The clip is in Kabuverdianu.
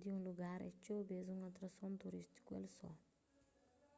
di un lugar é txeu bês un atrason turístiku el só